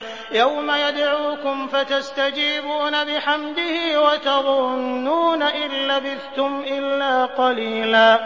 يَوْمَ يَدْعُوكُمْ فَتَسْتَجِيبُونَ بِحَمْدِهِ وَتَظُنُّونَ إِن لَّبِثْتُمْ إِلَّا قَلِيلًا